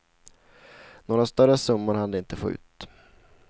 Några större summor hann de inte få ut.